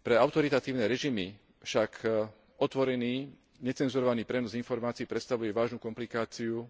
Pre autoritatívne režimy však otvorený necenzurovaný prenos informácií predstavuje vážnu komplikáciu